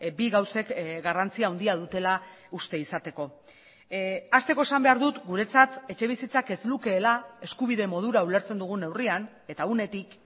bi gauzek garrantzi handia dutela uste izateko hasteko esan behar dut guretzat etxebizitzak ez lukeela eskubide modura ulertzen dugun neurrian eta unetik